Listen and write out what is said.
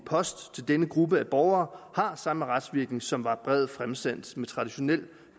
post til denne gruppe borgere har samme retsvirkning som var brevet fremsendt med traditionel